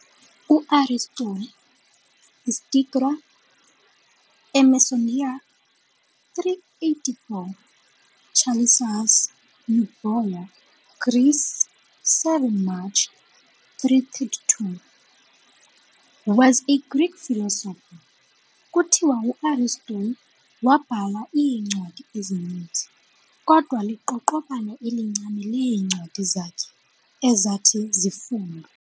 U-Aristotle, iStagira, eMacedonia, 384 - Chalicis, Euboea, Greece, 7 March 322, was a Greek philosopher. Kuthiwa uAristotle waabhala iincwadi ezininzi, kodwa liqaqobana elincinane leencwadi zakhe ezathi zafundwe.